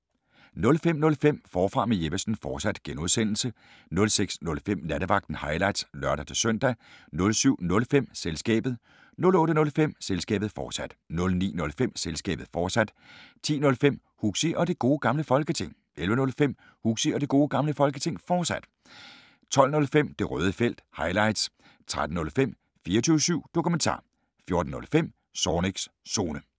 05:05: Forfra med Jeppesen fortsat (G) 06:05: Nattevagten – highlights (lør-søn) 07:05: Selskabet 08:05: Selskabet, fortsat 09:05: Selskabet, fortsat 10:05: Huxi og Det Gode Gamle Folketing 11:05: Huxi og Det Gode Gamle Folketing, fortsat 12:05: Det røde Felt – highlights 13:05: 24syv Dokumentar 14:05: Zornigs Zone